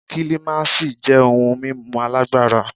Kílímásì jẹ́ ohun mímu alágbára.